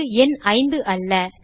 இது எண் 5 அல்ல